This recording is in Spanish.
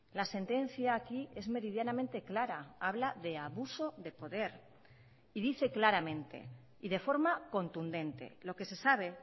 la sentencia aquí es meridianamente clara habla de abuso de poder y dice claramente y de forma contundente lo que se sabe